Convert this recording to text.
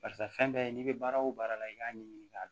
Barisa fɛn bɛɛ n'i bɛ baara o baara la i k'a ɲɛɲini k'a dɔn